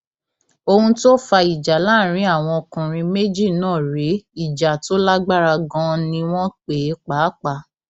ohun tó fa ìjà láàrin àwọn ọkùnrin méjì náà rèé ìjà tó lágbára ganan ni wọn pè é pàápàá